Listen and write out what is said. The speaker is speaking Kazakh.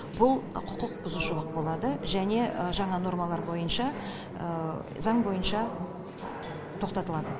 бұл құқықбұзушылық болады және жаңа нормалар бойынша заң бойынша тоқтатылады